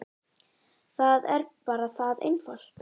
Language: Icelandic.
Það er bara það einfalt.